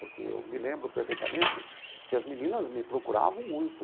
Porque eu me lembro perfeitamente que as meninas me procuravam muito.